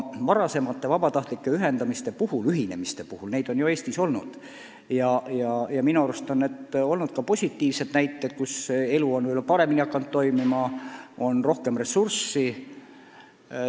Varasemate vabatahtlike ühinemiste puhul on olnud positiivseid näiteid, et kõik on hakanud paremini toimima, kuna on rohkem ressursse.